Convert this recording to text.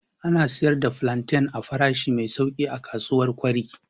Ana sayar da plantain a farashi mai sauƙi a kasuwar kure.